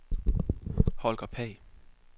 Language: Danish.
Holger Pagh